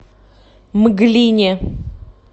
мглине